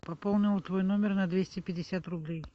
пополнила твой номер на двести пятьдесят рублей